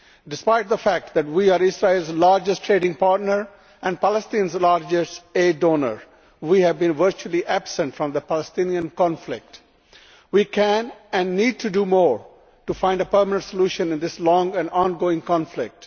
Despite the fact that we are Israel's largest trading partner and Palestine's largest aid donor, we have been virtually absent from the Palestinian conflict. We can and need to do more to find a permanent solution in this long and ongoing conflict.